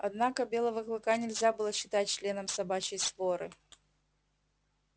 однако белого клыка нельзя было считать членом собачьей своры